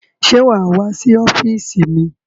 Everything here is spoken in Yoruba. Ṣé wà á wá sí ọ́fíísì mi?